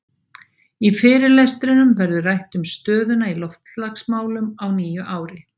Í fyrirlestrinum verður rætt um stöðuna í loftslagsmálum á nýju ári.